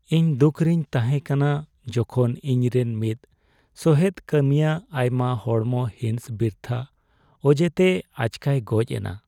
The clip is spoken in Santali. ᱤᱧ ᱫᱩᱠᱷ ᱨᱤᱧ ᱛᱟᱦᱮᱸ ᱠᱟᱱᱟ ᱡᱚᱠᱷᱚᱱ ᱤᱧ ᱨᱮᱱ ᱢᱤᱫ ᱥᱚᱦᱮᱫ ᱠᱟᱹᱢᱤᱭᱟᱹ ᱟᱭᱢᱟ ᱦᱚᱲᱢᱚ ᱦᱤᱸᱥ ᱵᱤᱨᱛᱷᱟᱹ ᱚᱡᱮᱛᱮ ᱟᱪᱠᱟᱭ ᱜᱚᱡ ᱮᱱᱟ ᱾